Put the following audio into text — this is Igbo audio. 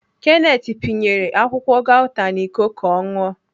Kenneth panyere akwụkwọ gauta n'Iko ka ọ ṅụọ.